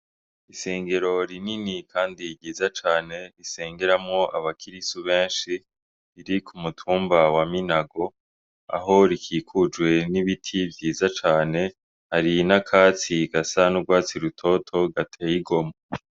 Isengero rinini Kandi ryiza cane risengeramwo abakirisu benshi riri ku mutumba wa Minago, aho rikikujwe n'ibiti vyiza cane hari n'akatsi gasa n'urwatsi rutoto gateye igomwe .